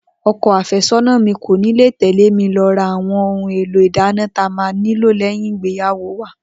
O̩ko̩ àfé̩só̩nà mi kò ní lè tè̩lé mi lo̩ ra àwo̩n ohun èlò ìdáná ta máa nílò lé̩yìn ìgbéyàwó wa